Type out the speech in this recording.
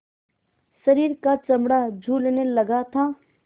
शरीर का चमड़ा झूलने लगा था